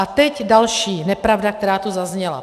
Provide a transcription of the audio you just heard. A teď další nepravda, která tu zazněla.